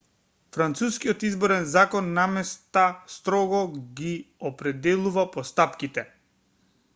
францускиот изборен закон наместа строго ги определува постапките